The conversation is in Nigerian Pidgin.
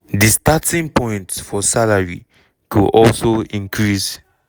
di starting point for salary go also increase.